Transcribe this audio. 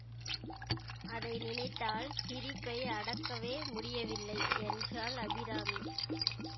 அதை நினைத்தால் சிரிப்பை அடக்கவே முடியவில்லை என்றாள் அபிராமி